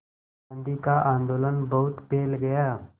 गांधी का आंदोलन बहुत फैल गया